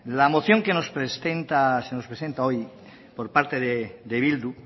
la moción que se nos presenta hoy por parte de bildu